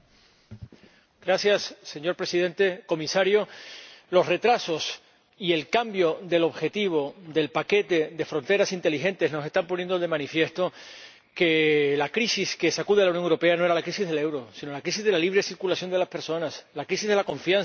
Señor Presidente, comisario, los retrasos y el cambio del objetivo del paquete de fronteras inteligentes nos están poniendo de manifiesto que la crisis que sacude a la Unión Europea no era la crisis del euro, sino la crisis de la libre circulación de las personas, la crisis de la confianza entre los Estados miembros.